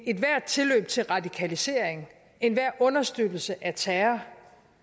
ethvert tilløb til radikalisering enhver understøttelse af terror